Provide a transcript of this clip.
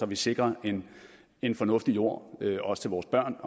vi sikrer en fornuftig jord også til vores børn